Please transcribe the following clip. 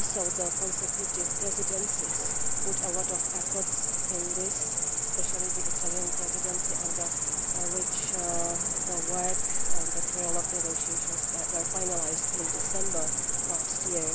The consecutive presidencies also put a lot of effort into this, especially the Italian Presidency under which the work and the trilogue negotiations were finalised in December last year.